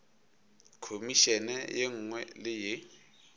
khomišene ye nngwe le ye